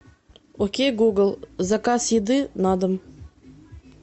окей гугл заказ еды на дом